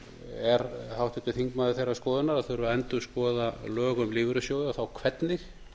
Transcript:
er háttvirtur þingmaður þeirrar skoðunar að það þurfi að endurskoða lög um lífeyrissjóði og þá hvernig